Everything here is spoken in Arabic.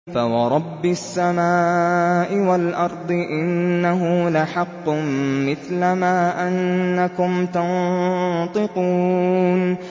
فَوَرَبِّ السَّمَاءِ وَالْأَرْضِ إِنَّهُ لَحَقٌّ مِّثْلَ مَا أَنَّكُمْ تَنطِقُونَ